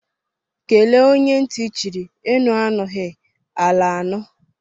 kele onye nti chiri; enu anughi, ala anu.